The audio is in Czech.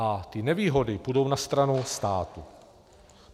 A ty nevýhody půjdou na stranu státu.